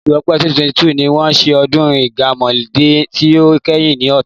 Oṣù Ọpẹ́ 2022 ni wọ́n ṣe ọdún Ìgánmọ́dẹ tí ó kẹ́yìn ní Ọ̀tà.